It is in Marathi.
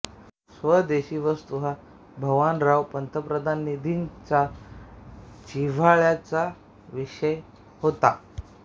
स्वदेशी वस्तू हा भवानराव पंतप्रतिनिधींचा जिव्हाळ्याचा विषय होता